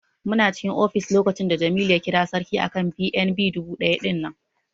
Muna cikin ofis lokacin da Jamilu ya kira Sarki akan BNB dubu ɗaya ɗinnan.